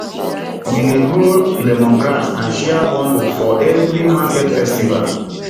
we dey grow lemongrass and share bundles for every market festival